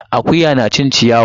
Akuya na cin ciyawa.